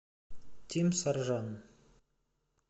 тим саржан